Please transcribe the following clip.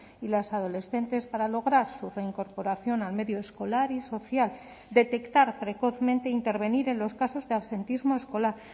y las adolescentes para lograr su reincorporación al medio escolar y social detectar precozmente e intervenir en los casos de absentismo escolar